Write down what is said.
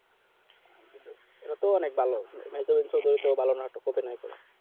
হ্যাঁ কিন্তু এরাকও অনেক ভালো ভেতর অঞ্চলে এর থেকে ভালো নাটক করতে নাই পারে